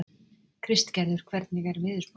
Kristgerður, hvernig er veðurspáin?